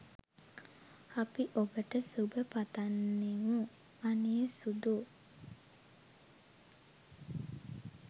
අපි ඔබට සුබ පතන්නෙමු අනේ සුදූ.